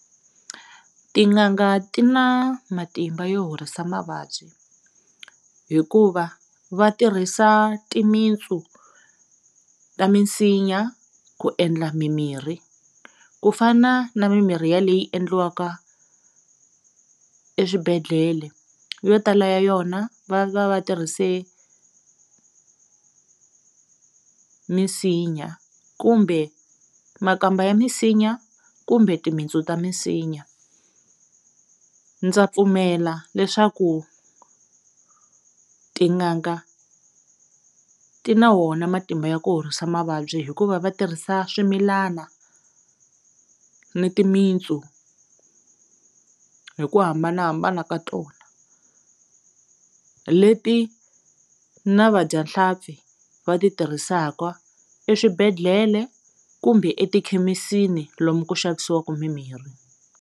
Tin'anga ti na matimba yo horisa mavabyi hikuva va tirhisa timitsu ta misinya ku endla mimirhi ku fana na mimirhi ya leyi endliwaka eswibedhlele yo tala ya yona va va va tirhise misinya kumbe makamba ya minsinya kumbe timitsu ta misinya ndza pfumela leswaku tin'anga ti na wona matimba ya ku horisa mavabyi hikuva va tirhisa swimilana ni timitsu hi ku hambanahambana ka tona leti na vadyahlampfi va ti tirhisaka eswibedhlele kumbe etikhemisini lomu ku xavisiwaku mimirhi.